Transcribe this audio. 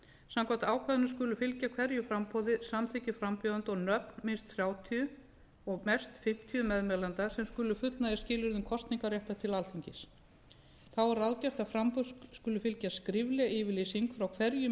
samkvæmt ákvæðinu skulu fylgja hverju framboði samþykki frambjóðanda og nöfn minnst þrjátíu og mest fimmtíu meðmælenda sem skulu fullnægja skilyrðum kosningarréttar til alþingis þá er ráðgert að framboði skuli fylgja skrifleg yfirlýsing frá hverjum meðmælanda